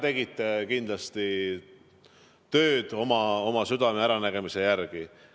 Te tegite kindlasti tööd oma südame ja äranägemise järgi.